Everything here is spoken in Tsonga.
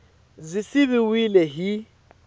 b yi siviwile hi x